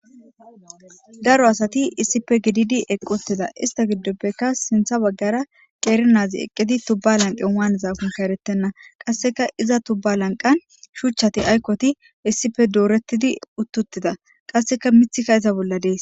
daro asati issipe gididi eqqutida ista giddoppeka sintha baggara qeeri naazi eqqidi tubba lanqan waanezakun kaeretenna qasseka iza tubba lanqan shuchchati aykkoti issife doorettidi uttuttida qasseka mithika iza bolla dees